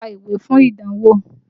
Lọ ka ìwé fún ìdánwò!